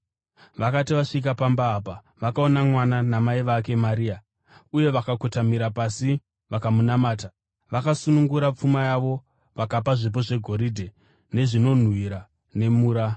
Vakati vasvika pamba apa, vakaona mwana namai vake Maria, uye vakakotamira pasi vakamunamata. Vakasunungura pfuma yavo vakapa zvipo zvegoridhe, nezvinonhuhwira nemura.